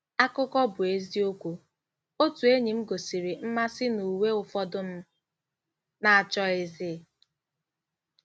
Akụkọ bụ́ eziokwu: “ Otu enyi m gosiri mmasị n'uwe ụfọdụ m na-achọghịzị.